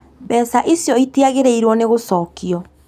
Mbeca icio itiagĩrĩirũo nĩ gũcokio